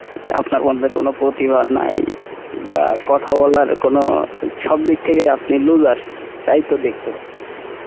আপনার মধ্যে কোনো প্রতিভা নাই, বা কথা বলার কোনো, সব দিক থেকেই আপনি looser, তাইতো দেখতে পাচ্ছি আসলে।